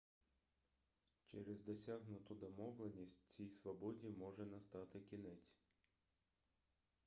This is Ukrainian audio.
через досягнуту домовленість цій свободі може настати кінець